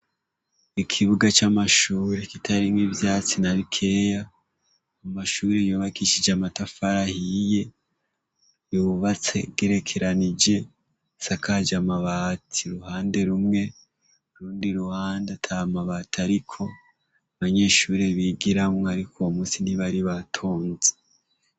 Ikibuga c'amashure kitarimwo ivyatsi na bikeya, amashure yubakishije amatafari ahiye, yubatse agerekeranije, asakaje amabati uruhande rumwe, urundi ruhande ata mabati ariko, abanyeshure bigiramwo ariko uwu musi ntibari batonze.